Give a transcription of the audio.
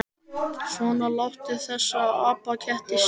Svona, láttu þessa apaketti sjá það.